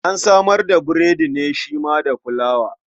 An samar da burodi ne shi ma daga fulawa.